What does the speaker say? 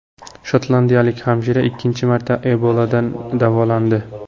Shotlandiyalik hamshira ikkinchi marta Eboladan davolandi.